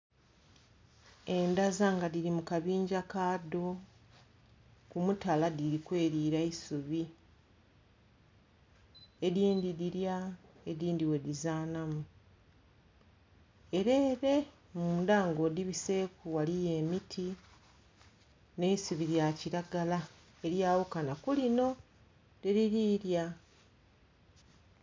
Endhaza nga dhiri mu kabingya kadho ku mutala dhiri kwelira isubi. Edhindhi dhilya edhindhi bwedhizanhamu. Ere ere mundha ng'odhibiseku ghaliyo emiti nh'eisubi lya kilagala elyaghukana kulinho dheliri lya